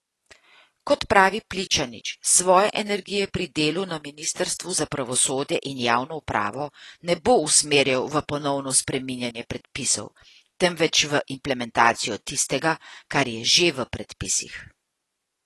Kot pravi Pličanič, svoje energije pri delu na ministrstvu za pravosodje in javno upravo ne bo usmerjal v ponovno spreminjanje predpisov, temveč v implementacijo tistega, kar je že v predpisih.